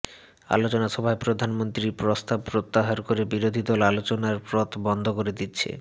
আলোচনা সভায় প্রধানমন্ত্রী প্রস্তাব প্রত্যাহার করে বিরোধী দল আলোচনার পথ বন্ধ করে দিচ্ছে